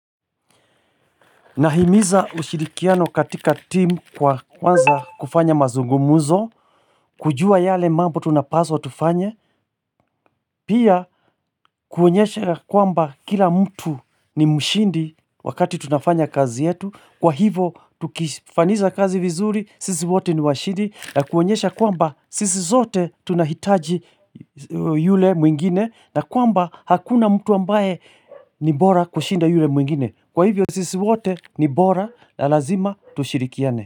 Nahimiza ushirikiano katika timu kwa kwanza kufanya mazungumuzo, kujua yale mambo tunapaswa tufanye, pia kuonyesha kuamba kila mtu ni mshindi wakati tunafanya kazi yetu, kwa hivo tukifaniza kazi vizuri, sisi wote ni washindi, na kuonyesha kwamba sisi zote tunahitaji yule mwingine, na kuamba hakuna mtu ambaye ni bora kushinda yule mwingine. Kwa hivyo sisi wote ni bora la lazima tushirikiane.